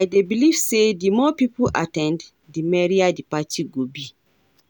I dey believe say di more people at ten d, di merrier di party go be.